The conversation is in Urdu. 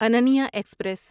اننیا ایکسپریس